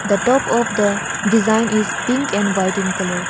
The top of the design is pink and white in colour.